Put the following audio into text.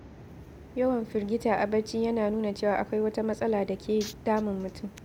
Yawan firgita a bacci yana nuna cewa akwai wata matsala da ke damun mutum.